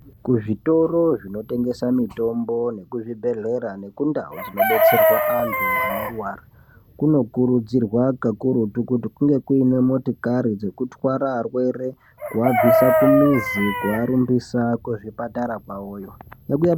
Kizvitoro zvinotengesa mitombo nekuzvibhedhlera nekundau dzinobetserwa antu anorwara kunokurudzirwa pakurutu kuti kunge kuine motokari dzekutwara arwere kuabvisa kumuzi kuarumbisa kuchipatara kwavoyo.